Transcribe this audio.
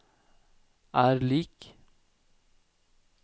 er lik